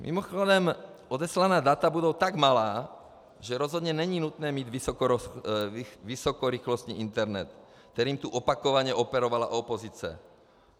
Mimochodem, odeslaná data budou tak malá, že rozhodně není nutné mít vysokorychlostní internet, kterým tu opakovaně operovala opozice.